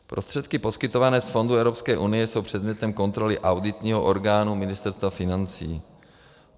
Prostředky poskytované z fondů Evropské unie jsou předmětem kontroly auditního orgánu Ministerstva financí.